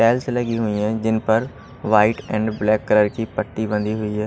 Tiles लगी हुई है जिन पर व्हाइट एंड ब्लैक कलर की पट्टी बंधी हुई है।